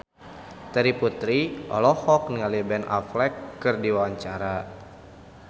Terry Putri olohok ningali Ben Affleck keur diwawancara